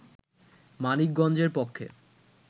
মানিকগঞ্জের পক্ষে